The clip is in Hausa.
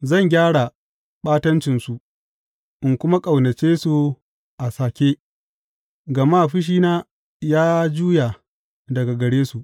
Zan gyara ɓatancinsu in kuma ƙaunace su a sake, gama fushina ya juya daga gare su.